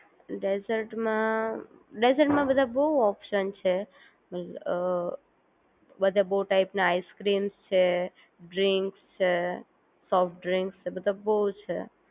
ડેઝર્ટમાં ડેઝર્ટમાં બધા બહુ ઓપ્શન છે બધા બહુ ટાઈમ ના આઈસ્ક્રીમ છે ડ્રીંક છે સોફ્ટ ડ્રિંક છે બધા બહુ છે